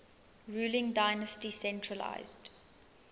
ruling dynasty centralised